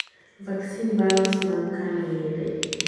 Vaccine vials mag kano yedhe.